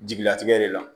Jigilatigɛ de la